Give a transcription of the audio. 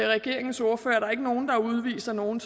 regeringens ordførere at der ikke er nogen der udviser nogen